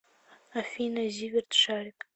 афина зиверт шарик